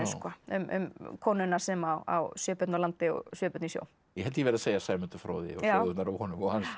um konuna sem á sjö börn á landi og sjö börn í sjó ég held ég verði að segja Sæmundur fróði og sögurnar af honum og hans